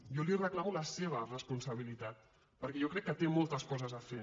jo li reclamo la seva responsabilitat perquè jo crec que té moltes coses a fer